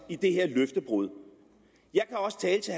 i det her løftebrud jeg kan også tælle til